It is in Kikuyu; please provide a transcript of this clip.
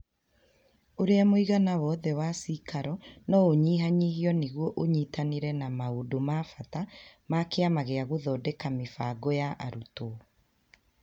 Ũrĩa mũigana wothe wa cĩikaro no ũnyihanyihio nĩguo ũnyitanĩre na maũndũ ma bata ma Kĩama gĩa gũthondeka mĩbango ya arutwo.